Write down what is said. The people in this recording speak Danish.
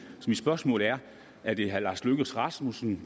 så mit spørgsmål er er det herre lars løkke rasmussen